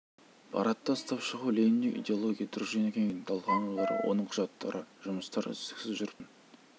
парадта ұстап шығу лениндік идеология дружина кеңестерінің талқыланулары оның құжаттары жұмыстар үздіксіз жүріп отыратын